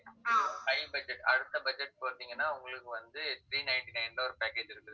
high budget அடுத்த budget பார்த்தீங்கன்னா உங்களுக்கு வந்து, three ninety-nine ல, ஒரு package இருக்குது